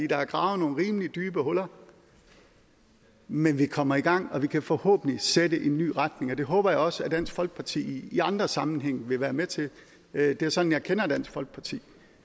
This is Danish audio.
der er gravet nogle rimelig dybe huller men vi kommer i gang og vi kan forhåbentlig sætte en ny retning og det håber jeg også at dansk folkeparti i andre sammenhænge vil være med til det er sådan jeg kender dansk folkeparti